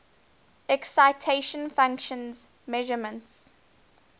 excitation function measurements